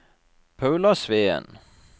Paula Sveen